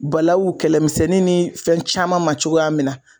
Balawu kɛlɛmisɛnnin ni fɛn caman ma cogoya minna